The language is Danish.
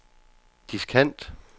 diskant